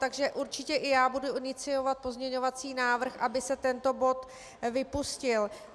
Takže určitě i já budu iniciovat pozměňovací návrh, aby se tento bod vypustil.